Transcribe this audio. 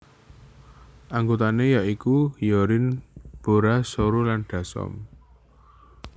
Anggotané ya iku Hyorin Bora Soyou lan Dasom